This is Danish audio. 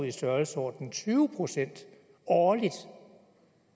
i størrelsesordenen tyve procent årligt